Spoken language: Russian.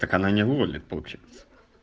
так она не вывалит получается